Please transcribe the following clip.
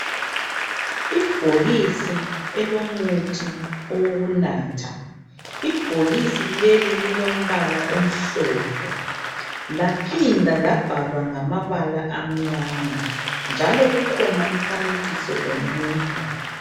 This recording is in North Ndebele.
Ibhokisi elomuthi owokunatha. Ibhokisi leli lilombala omhlophe laphinda labhalwa ngamabala amnyama njalo kukhona umfanekiso womuntu.